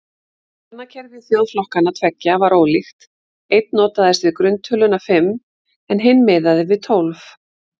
Talnakerfi þjóðflokkanna tveggja var ólíkt, einn notaðist við grunntöluna fimm en hinn miðaði við tólf.